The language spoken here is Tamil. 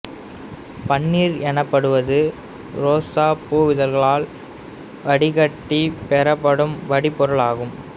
பன்னீர் எனப்படுவது உரோசாப் பூவிதழ்களால் வடிகட்டிப் பெறப்படும் வடிபொருள் ஆகும்